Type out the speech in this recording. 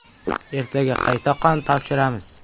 Ertaga qayta qon topshiramiz.